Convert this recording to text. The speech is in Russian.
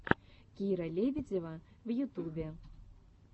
кира лебедева в ютубе